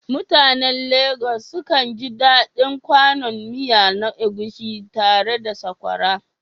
Mutanen Legas sukan ji daɗin kwanon miya na Egusi tare da sakwara